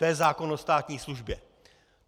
To je zákon o státní službě.